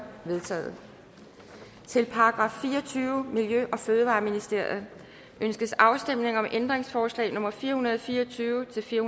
vedtaget til § fireogtyvende miljø og fødevareministeriet ønskes afstemning om ændringsforslag nummer fire hundrede og fire og tyve til fire